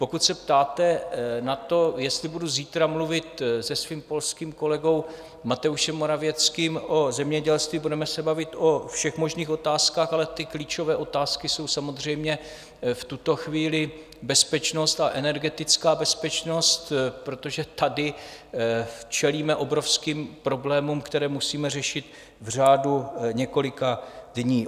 Pokud se ptáte na to, jestli budu zítra mluvit se svým polským kolegou Mateuzsem Morawieckým o zemědělství, budeme se bavit o všech možných otázkách, ale ty klíčové otázky jsou samozřejmě v tuto chvíli bezpečnost a energetická bezpečnost, protože tady čelíme obrovským problémům, které musíme řešit v řádu několika dnů.